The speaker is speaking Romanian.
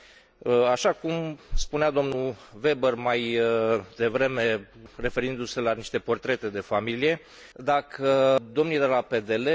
așa cum spunea domnul Weber mai devreme, referindu se la niște portrete de familie, dacă domnii de la PDL